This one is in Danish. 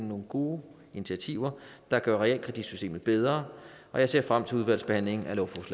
nogle gode initiativer der gør realkreditsystemet bedre og jeg ser frem til udvalgsbehandlingen